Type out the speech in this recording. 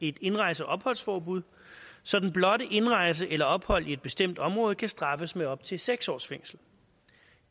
et indrejse og opholdsforbud så den blotte indrejse eller ophold i et bestemt område kan straffes med op til seks års fængsel